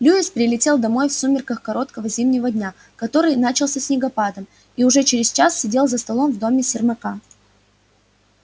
льюис прилетел домой в сумерках короткого зимнего дня который начался снегопадом и уже через час сидел за столом в доме сермака